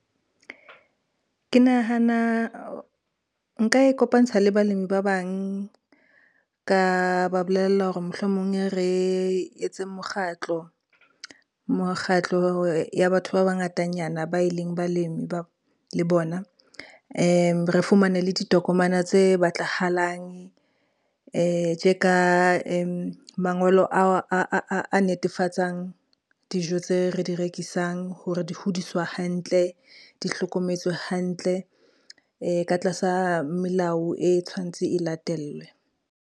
Ke nahana nka ikopantsha le balemi ba bang, ka ba bolella hore mohlomong re etseng mokgatlo. Mokgatlo ya batho ba bangatanyana ba e leng balemi le bona, re fumane le ditokomana tse batlahalang, tje ka mangolo a netefatsang dijo tse re di rekisang hore di hodiswa hantle, di hlokometswe hantle ka tlasa melao e tshwantse e latellwe.